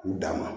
U dan ma